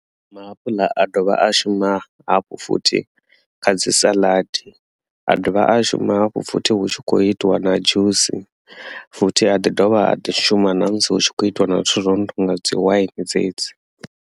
Maapuḽa a dovha a shuma hafhu futhi kha dzi saḽadi a dovha a shuma hafhu futhi hu tshi khou itiwa na dzhusi futhi a ḓi dovha a ḓi shuma na musi hu tshi khou itiwa na zwithu zwo no nga dzi wine dzedzi.